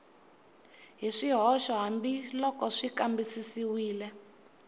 hi swihoxo hambiloko xi kambisisiwile